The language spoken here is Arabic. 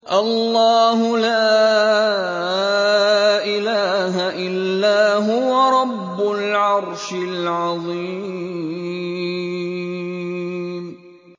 اللَّهُ لَا إِلَٰهَ إِلَّا هُوَ رَبُّ الْعَرْشِ الْعَظِيمِ ۩